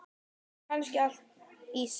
Eða kannski allt í senn?